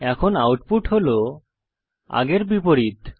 এখন আউটপুট হল আগের বিপরীত